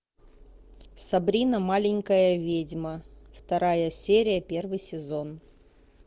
сабрина маленькая ведьма вторая серия первый сезон